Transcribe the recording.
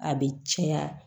A bɛ caya